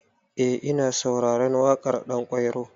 Eh ina sauraren waƙar Ɗanƙwairo.